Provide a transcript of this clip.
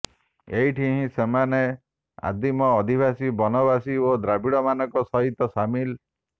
ଏଇଠି ହିଁ ସେମାନେ ଆଦିମ ଅଧିବାସୀ ବନବାସୀ ଓ ଦ୍ରାବିଡମାନଙ୍କ ସହିତ ସାମିଲ